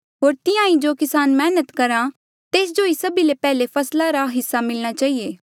होर तिहां ही जो किसान मैहनत करहा तेस्जो ही सभी ले पैहले फसला रा हिस्सा मिलणा चहिए